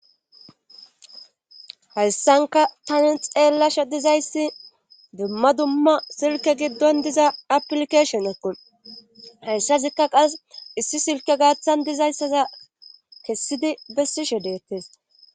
Hayssanka tani xeelasha dizayssi dumma dumma silke giddon diza aplikashon equn hayssasikka qas issi silke gaaththan dizayssaza kessidi bessishe deettes.